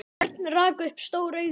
Örn rak upp stór augu.